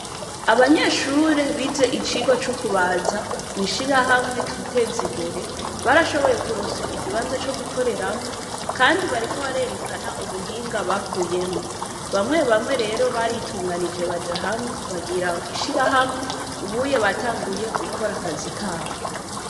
Abanyeshure bize ivyigwa cukubaza mwishirahamwe twiteze imbere, Barashoboye kuronswa ikibanza cogukoreramwo kandi bariko barerekana ubuhinga bakuyemwo, bamwe bamwe rero. baratanguye ugira ishirahamwe. ubu unye batanguye gukora akazi kabo.